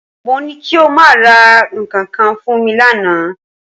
Mo ní kí o máa ra nǹkan kan fún mi lánàá